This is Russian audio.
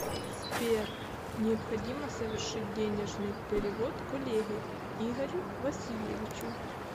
сбер необходимо совершить денежный перевод коллеге игорю васильевичу